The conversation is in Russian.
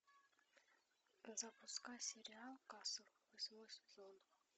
запускай сериал касл восьмой сезон